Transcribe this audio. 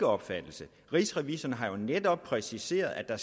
opfattelse rigsrevisor har jo netop præciseret at der